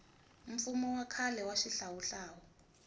mfumo wa khale wa xihlawuhlawu